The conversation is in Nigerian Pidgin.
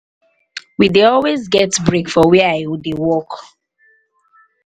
we dey always get break for where i dey work